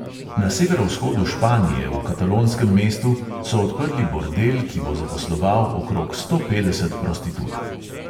Na severovzhodu španije, v katalonskem mestu, so odprli bordel, ki bo zaposloval okrog sto petdeset prostitutk.